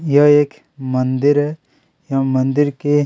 यह एक मंदिर है एवं मंदिर के --